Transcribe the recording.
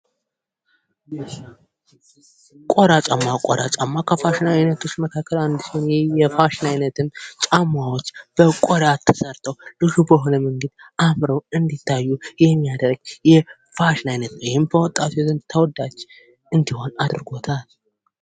ቆዳ ጫማቆዳ ጫማ ከፋሽን ዐይነቶች መካከል አንዱ ሲሆን ይህ ፋሽን አይነትን ጫማ ዎች በቆዳ ተሠርተው ልዩ በሆነ መንገድበሆነ መንገድ አምረው እንዲታየው የሚያደርግ የፋሽን አይነት ነው ይህን በወጣቱ ተወዳጅ እንዲሆን አድርጎታል